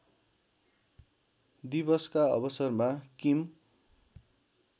दिवसका अवसरमा किम